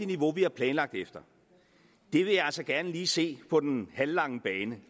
niveau vi har planlagt efter det vil jeg altså gerne lige se på den halvlange bane